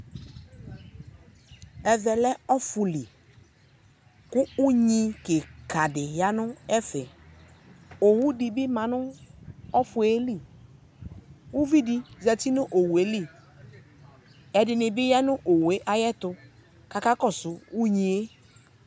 Ɛvɛ lɛ ɔfʋ li, kʋ unyi kɩkadɩ ya nʋ ɛfɛ , owudɩ bɩ ma nʋ ɔfʋe li, k'uvidɩ zati n'owue li Ɛdɩnɩ bɩ ya nʋ owue ayɛtʋ, k'aka kɔsʋ unyie